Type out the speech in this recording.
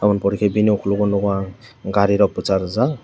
abo ni pore ke bini okologo nogo ang gari rok bosakjak.